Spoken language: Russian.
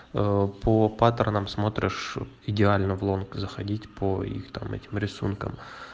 ээ по паттернам смотришь идеально в лонг заходить по их там этим рисунком